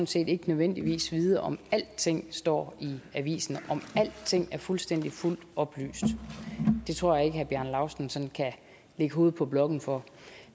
set ikke nødvendigvis vide om alting står i avisen om alting er fuldstændig og fuldt oplyst det tror jeg ikke at herre bjarne laustsen sådan kan lægge hovedet på blokken for